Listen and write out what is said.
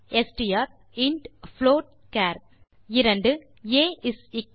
STR int float char 2